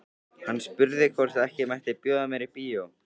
Hann spurði hvort ekki mætti bjóða mér í bíó.